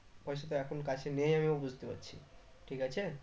পয়সা তো এখন কাছে নেই আমিও বুঝতে পারছি ঠিক আছে